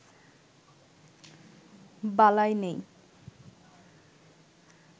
বালাই নেই